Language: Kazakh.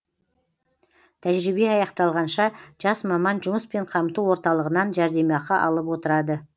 тәжірибе аяқталғанша жас маман жұмыспен қамту орталығынан жәрдемақы алып отырады